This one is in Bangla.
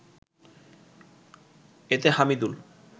এতে হামিদুল